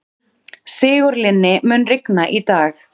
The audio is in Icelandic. Sigurlinni, mun rigna í dag?